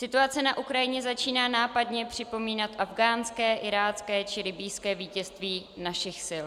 Situace na Ukrajině začíná nápadně připomínat afghánské, irácké či libyjské vítězství našich sil.